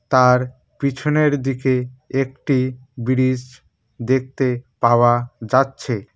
তার পিছনের দিকে একটি ব্রীজ দেখতে পাওয়া যাচ্ছে।